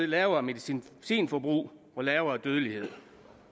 lavere medicinforbrug og lavere dødelighed